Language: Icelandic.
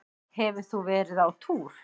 Hefur þú verið á túr?